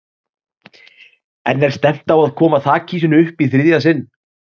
En er stefnt á að koma þakhýsinu upp í þriðja sinn?